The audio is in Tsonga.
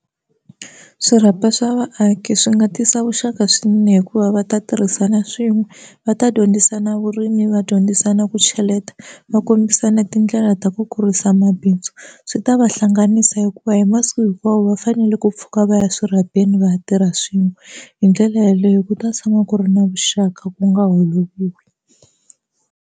Swirhapa swa vaaki swi nga tisa vuxaka swinene hikuva va ta tirhisana swin'we va ta dyondzisana vurimi va dyondzisana ku cheleta va kombisana tindlela ta ku kurisa bindzu swi ta va hlanganisa hikuva hi masiku hinkwawo va fanele ku pfuka va ya swirhapeni va ya tirha swin'we hi ndlela yeleyo ku ta tshama ku ri na vuxaka ku nga holoviwi.